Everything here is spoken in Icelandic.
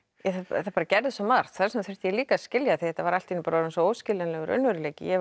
það gerðist svo margt þess vegna þurfti ég líka að skilja því þetta var allt í einu orðinn óskiljanlegur raunveruleiki ég var